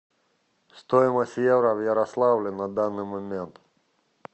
стоимость евро в ярославле на данный момент